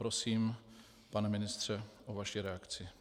Prosím, pane ministře, o vaše reakci.